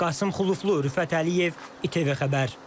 Qasım Xuluflu, Rüfət Əliyev, İTV xəbər.